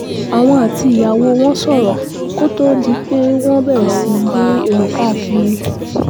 àwọn àti ìyàwó wọn sọ̀rọ̀ kó tóó di pé wọ́n bẹ̀rẹ̀ sí í gbé èrò káàkiri